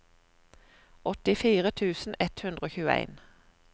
åttifire tusen ett hundre og tjueen